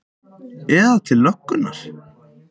Eða til löggunnar?